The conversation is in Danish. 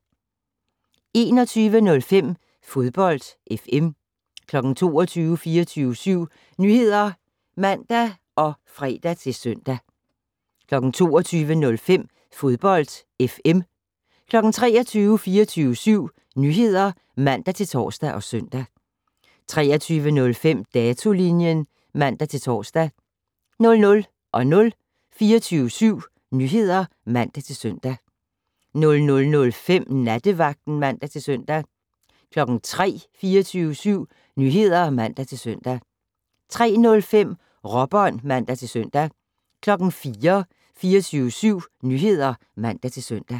21:05: Fodbold FM 22:00: 24syv Nyheder (man og fre-søn) 22:05: Fodbold FM 23:00: 24syv Nyheder (man-tor og søn) 23:05: Datolinjen (man-tor) 00:00: 24syv Nyheder (man-søn) 00:05: Nattevagten (man-søn) 03:00: 24syv Nyheder (man-søn) 03:05: Råbånd (man-søn) 04:00: 24syv Nyheder (man-søn)